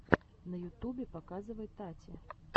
на ютубе показывай тати